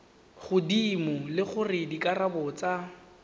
godimo le gore dikarabo tsa